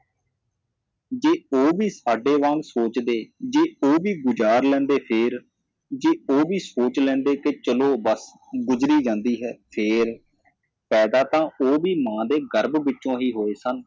ਜੇ ਉਹ ਵੀ ਸਾਡੇ ਵਾਂਗ ਸੋਚਦੇ ਜੇ ਉਹ ਵੀ ਗੁਜ਼ਾਰ ਲੈਂਦੇ ਫੇਰ ਜੇ ਉਹ ਵੀ ਸੋਚ ਲੈਂਦੇ ਕਿ ਚਲੋ ਵਕਤ ਗੁਜਰੀ ਜਾਂਦੀ ਹੈ ਫੇਰ ਪੈਦਾ ਤਾਂ ਉਹ ਵੀ ਮਾਂ ਦੇ ਗਰਭ ਵਿਚੋ ਹੀ ਹੋਏ ਸਨ